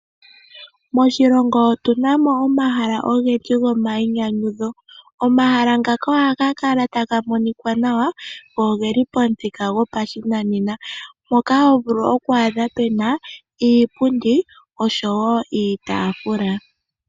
Moshilongo otu namo omahala ogendji gomayi nyanyudho. Omahala ngaka oha ga kala taga monika nawa, go ogeli pamuthika gopashinanena moka ho vulu oku adha pena iipundi osho wo iitafula.